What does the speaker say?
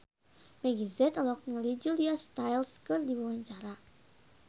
Meggie Z olohok ningali Julia Stiles keur diwawancara